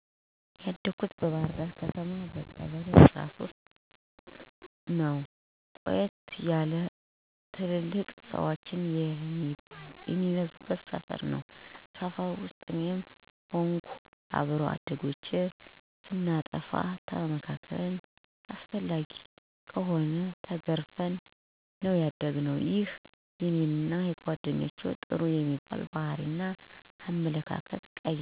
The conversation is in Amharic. ያደኩት በባህርዳር ከተማ ቀበሌ13ነው። ቆየት ያለ እና ትልልቅ ሠወች የሚበዙበት ሰፈር ነው። ሰፈር ውስጥ እኔም ሆንኩ አብሮ አደጎቼ ስናጠፋ ተመክረን አስፈላጊ ሆኖ ከተገኘ ተገርፈን ነው ያደግነው። ይሄም እኔንና ጓደኞቼ ጥሩ የሚባል ባህሪ እና አመለካከት እንዲኖረን ትልቅ አስተዋጽኦ አድርጎአል። ከእነዚህም ውስጥ አረጋውያንን መርዳ፣ ታላላቆችን ማክበር አና ሌሎችም ናቸው። ጥሩ የሚባል አመለካከት ያለኝ ሠው ነኝ።